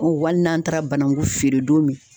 O wali n'an taara banangu feere don min